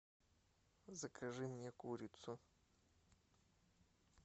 закажи мне курицу